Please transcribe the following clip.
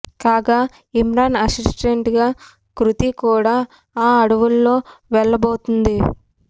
కాగా ఇమ్రాన్ అసిస్టెంట్ గా కృతి కూడా ఆ అడవుల్లో వెళ్ళబోతుంది